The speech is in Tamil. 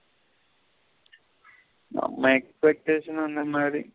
நம்ம expectation அந்த மாரி.